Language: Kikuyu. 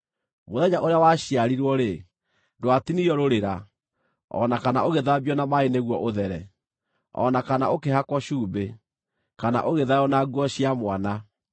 Mũthenya ũrĩa waciarirwo-rĩ, ndwatinirio rũrĩra, o na kana ũgĩthambio na maaĩ nĩguo ũthere, o na kana ũkĩhakwo cumbĩ, kana ũgĩthaywo na nguo cia mwana.